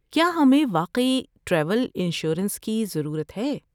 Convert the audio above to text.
کیا ہمیں واقعی ٹریول انشورنس کی ضرورت ہے؟